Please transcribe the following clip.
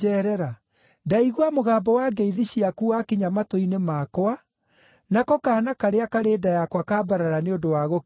Ndaigua mũgambo wa ngeithi ciaku wakinya matũ-inĩ makwa, nako kaana karĩa karĩ nda yakwa kambarara nĩ ũndũ wa gũkena.